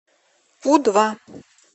у два